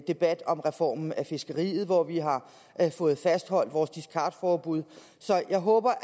debat om reformen af fiskeriet hvor vi har fået fastholdt vores discardforbud så jeg håber